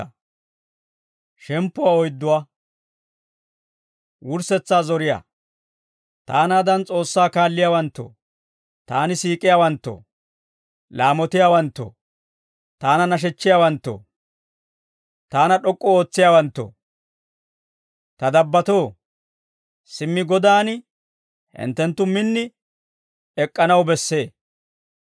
Taanaadan S'oossaa kaalliyaawanttoo, taani siik'iyaawanttoo, laamotiyaawanttoo, taana nashechchiyaawaanttoo, taana d'ok'k'u ootsiyaawanttoo, ta dabbatoo, simmi Godan hinttenttu min ek'k'anaw bessee.